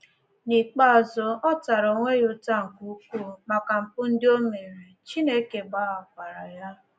N’ikpeazụ, ọ tara onwe ya ụta nke ukwuu maka mpụ ndị o mere, Chineke gbaghakwaara ya.